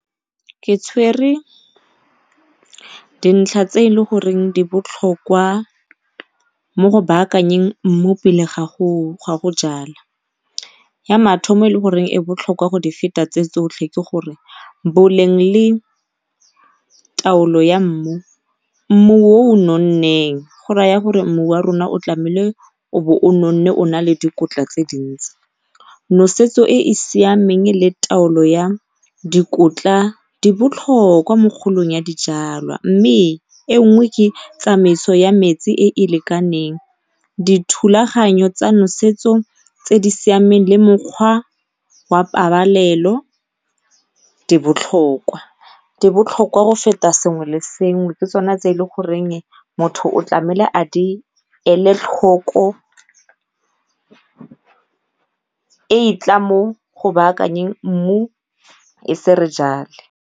Ke tshwere dintlha tse e le goreng di botlhokwa mo go baakanyeng mmu pele ga go ga go jala. Ya mathomo e e leng gore e botlhokwa go di feta tse tsotlhe ke gore boleng le taolo ya mmu, mmu o o nonneng go raya gore mmu wa rona o tlabo o nonne o na le dikotla tse dintsi, nosetso e e siameng le taolo ya dikotla di botlhokwa mo kgolong ya dijalwa mme e nngwe ke tsamaiso ya metsi e e lekaneng dithulaganyo tsa nosetso tse di siameng le mokgwa wa pabalelo di botlhokwa. Di botlhokwa go feta sengwe le sengwe, ke tsona tse e le goreng motho o tlameile a di ele tlhoko e e tla mo go baakanyeng mmu e se re jale.